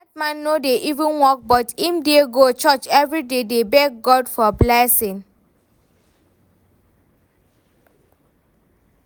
Dat man no dey even work but im dey go church everyday dey beg God for blessing